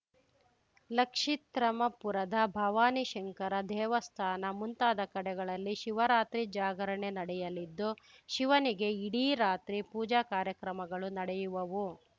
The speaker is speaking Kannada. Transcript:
ಲಕ್ಷಿತ್ರ್ಮೕಪುರದ ಭವಾನಿಶಂಕರ ದೇವಸ್ಥಾನ ಮುಂತಾದ ಕಡೆಗಳಲ್ಲಿ ಶಿವರಾತ್ರಿ ಜಾಗರಣೆ ನಡೆಯಲಿದ್ದು ಶಿವನಿಗೆ ಇಡೀ ರಾತ್ರಿ ಪೂಜಾ ಕಾರ್ಯಕ್ರಮಗಳು ನಡೆಯುವವು